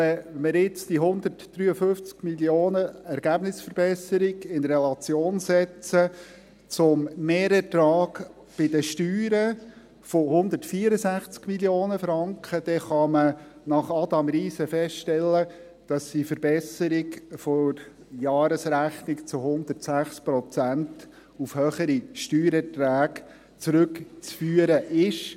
Wenn man diese 153 Mio. Franken Ergebnisverbesserung in Relation setzt zum Mehrertrag bei den Steuern von 164 Mio. Franken, dann kann man nach Adam Riese feststellen, dass die Verbesserung der Jahresrechnung zu 106 Prozent auf höhere Steuereinträge zurückzuführen ist.